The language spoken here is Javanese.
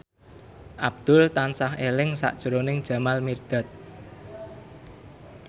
Abdul tansah eling sakjroning Jamal Mirdad